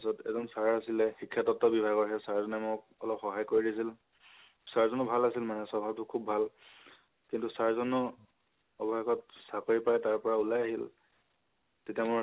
তাৰ পিছত এজন sir আছিলে। শিক্ষাতাত্ব বিভাগৰ সেই sir জনে মোক অলপ সহায় কৰি দিছিল। sir জনো ভাল আছিল মানে স্বভাবটো খুব ভাল। কিন্তু sir জনো অবেশেষত চাকৰি পাই তাৰ পৰা উলাই আহিল। তেতিয়া আমাৰ